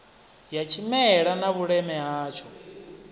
ya tshimela na vhuleme hatsho